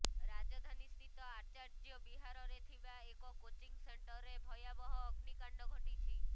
ରାଜଧାନୀସ୍ଥିତ ଆଚାର୍ଯ୍ୟ ବିହାରରେ ଥିବା ଏକ କୋଚିଂ ସେଣ୍ଟରେ ଭୟାବହ ଅଗ୍ନିକାଣ୍ଡ ଘଟିଛି